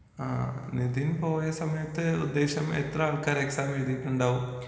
ആ നിതിൻ പോയ സമയത്ത് ഉദ്ദേശം എത്രാൾക്കാര് എക്സാം എഴുതിയിട്ടുണ്ടാകും?